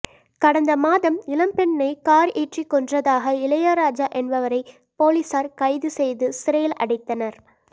கடந்த மாதம் இளம்பெண்ணை கார் ஏற்றி கொன்றதாக இளையராஜா என்பவரை போலீசார் கைது செய்து சிறையில் அடைத்தனர்